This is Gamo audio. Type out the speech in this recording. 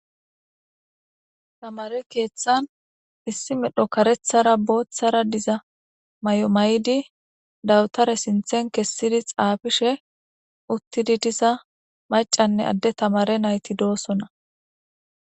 tamare keeththan issi medho karethara booththara diza may7o may7di dawutare sinthen kessidi xaafishe uttidi diza macanne adde tamare nayti doosona